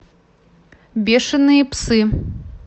бешеные псы